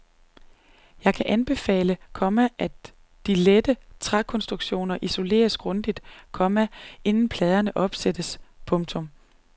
Jeg kan anbefale, komma at de lette trækonstruktioner isoleres grundigt, komma inden pladerne opsættes. punktum